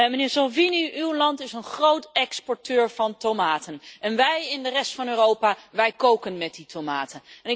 Meneer Salvini, uw land is een groot exporteur van tomaten en wij in de rest van Europa, wij koken met die tomaten.